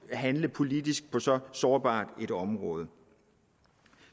at handle politisk på så sårbart et område